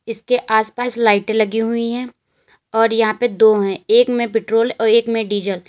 इसके आसपास लाइटें लगी हुई हैं और यहां पे दो हैं एक में पेट्रोल और एक में डीजल ।